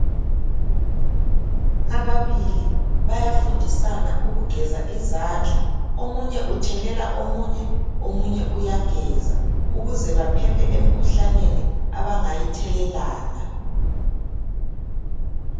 Ababili bayafundisana ukugeza izandla. Omunye uthelela omunye, omunye uyageza ukuze baphephe emkhuhlaneni abangayithelelana.